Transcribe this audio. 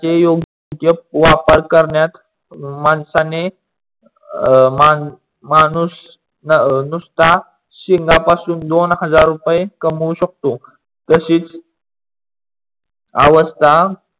योग्य वापर करण्यास माणसाने अं माणूस नुस्ता शिंगा पासून दोन हजार कामवू शकतो. तशीच अवस्था